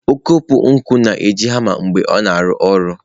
Ọkpụkpụ na-eji hama mgbe ọ na-arụ ọrụ.